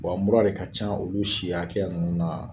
Wa mura de ka can olu si hakɛya ninnu na.